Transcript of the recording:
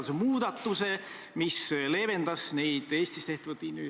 Aga ma ütlesin ühes eelnevas vastuses, et EKRE on kindlasti hea koalitsioonipartner.